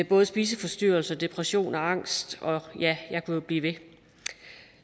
både spiseforstyrrelser depression og angst og ja jeg kunne jo blive ved